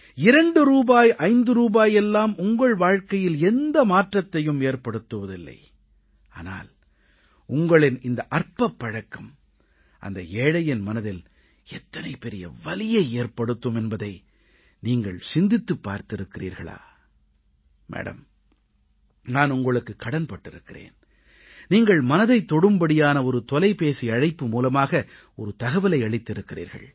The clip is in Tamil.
2 ரூபாய் 5 ரூபாய் எல்லாம் உங்கள் வாழ்கையில் எந்த மாற்றத்தையும் ஏற்படுத்துவதில்லை ஆனால் உங்களின் இந்த அற்பப் பழக்கம் அந்த ஏழையின் மனதில் எத்தனை பெரிய வலியை ஏற்படுத்தும் என்பதை நீங்கள் சிந்தித்துப் பார்த்திருக்கிறீர்களா மேடம் நான் உங்களுக்குக் கடன் பட்டிருக்கிறேன் நீங்கள் மனதைத் தொடும்படியான ஒரு தொலைபேசி அழைப்பு மூலமாக ஒரு தகவலை அளித்திருக்கிறீர்கள்